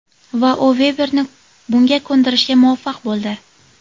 Va u Veberni bunga ko‘ndirishga muvaffaq bo‘ldi.